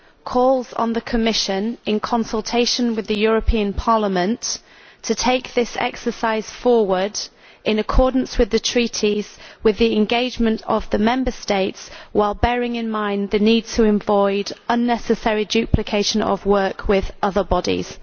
calls on the Commission, in consultation with the European Parliament, to take this exercise forward in accordance with the Treaties with the engagement of the Member States, while bearing in mind the need to avoid unnecessary duplication of work with other bodies'.